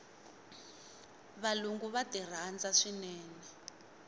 valungu va ti rhandza swinene